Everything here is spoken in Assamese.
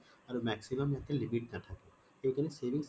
আৰু maximum ইয়াতে limit নাথাকে সেইকাৰণে savings account